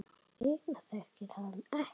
Hina þekkir hann ekki.